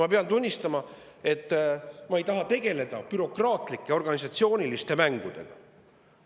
Ma pean tunnistama, et ma ei taha tegeleda bürokraatlike organisatsiooniliste mängudega.